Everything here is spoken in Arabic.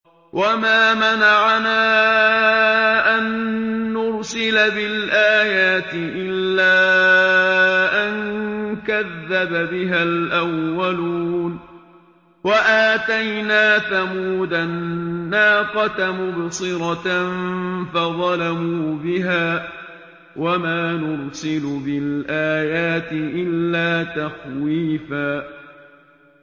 وَمَا مَنَعَنَا أَن نُّرْسِلَ بِالْآيَاتِ إِلَّا أَن كَذَّبَ بِهَا الْأَوَّلُونَ ۚ وَآتَيْنَا ثَمُودَ النَّاقَةَ مُبْصِرَةً فَظَلَمُوا بِهَا ۚ وَمَا نُرْسِلُ بِالْآيَاتِ إِلَّا تَخْوِيفًا